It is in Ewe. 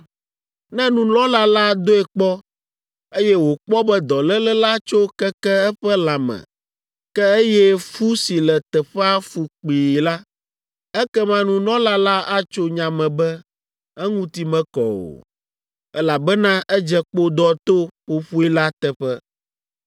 Ne nunɔla la doe kpɔ, eye wòkpɔ be dɔléle la tso keke eƒe lãme, ke eye fu si le teƒea fu kpii la, ekema nunɔla la atso nya me be, eŋuti mekɔ o, elabena edze kpodɔ to ƒoƒoe la teƒe.